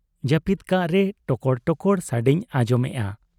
ᱡᱟᱹᱯᱤᱫ ᱠᱟᱜ ᱨᱮ ᱴᱚᱠᱚᱲ ᱴᱚᱠᱚᱲ ᱥᱟᱰᱮᱧ ᱟᱸᱡᱚᱢᱮᱜ ᱟ ᱾